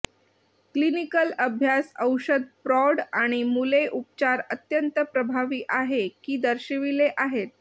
clinical अभ्यास औषध प्रौढ आणि मुले उपचार अत्यंत प्रभावी आहे की दर्शविले आहेत